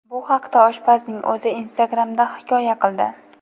Bu haqda oshpazning o‘zi Instagram’da hikoya qildi .